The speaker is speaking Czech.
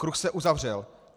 Kruh se uzavřel.